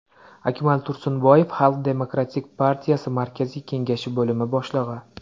Akmal Tursunboyev, Xalq demokratik partiyasi Markaziy Kengashi bo‘lim boshlig‘i .